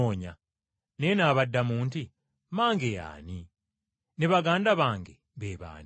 Naye n’abaddamu nti, “Mmange ye ani, ne baganda bange be baani?”